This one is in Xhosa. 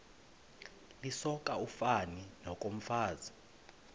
lisoka ufani nokomfazi